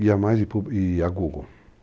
Guia Mais e a Google.